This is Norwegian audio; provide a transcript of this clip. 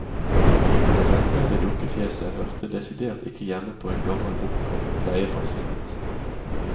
Det velpleide dukkefjeset hørte desidert ikke hjemme på en gammel bortkommen pleiepasient.